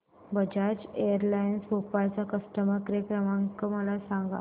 Bajaj Allianz Bhopal चा customer care क्रमांक काय आहे मला सांगा